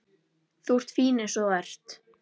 Þú ert fín eins og þú ert.